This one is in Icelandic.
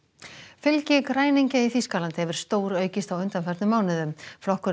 fylgi græningja í Þýskalandi hefur stóraukist á undanförnum mánuðum flokkurinn